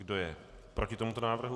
Kdo je proti tomuto návrhu?